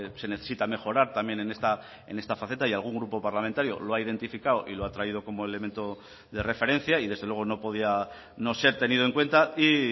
se necesita mejorar también en esta faceta y algún grupo parlamentario lo ha identificado y lo ha traído como elemento de referencia y desde luego no podía no ser tenido en cuenta y